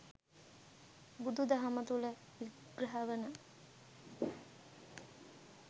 බුදු දහම තුළ විග්‍රහ වන